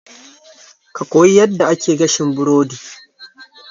Ka koyi yadda ake gashin burodi